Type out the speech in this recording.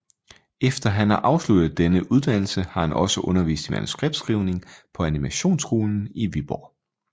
Efter han har afsluttet denne uddannelse har han også undervist i manuskriptskrivning på Animationsskolen i Viborg